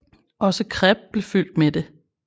Også crepe bliver fyldt med det